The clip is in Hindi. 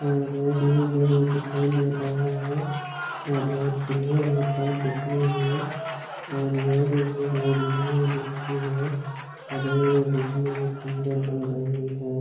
और यह भी दिखाई दे रहा है बहुत बढियाँ लग रहा है दिखने में और यहा पे भी बहुत बढियाँ दिखती है और यह भी दिखने में सुन्दर लग रही है।